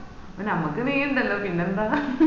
ഞമ്മക്ക് നീ ഇണ്ടല്ലോ പിന്നെന്താ